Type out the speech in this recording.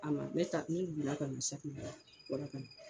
A ma bɛɛ ta ne wila ka do sa bɔrɔ kɔ